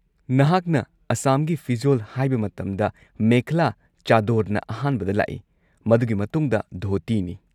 ꯅꯍꯥꯛꯅ ꯑꯁꯥꯝꯒꯤ ꯐꯤꯖꯣꯜ ꯍꯥꯏꯕ ꯃꯇꯝꯗ, ꯃꯦꯈꯂꯥ-ꯆꯥꯗꯣꯔꯅ ꯑꯍꯥꯟꯕꯗ ꯂꯥꯛꯏ, ꯃꯗꯨꯒꯤ ꯃꯇꯨꯡꯗ ꯙꯣꯇꯤꯅꯤ꯫